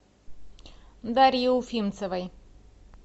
дарье уфимцевой